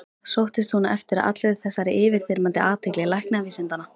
Sóttist hún eftir allri þessari yfirþyrmandi athygli læknavísindanna?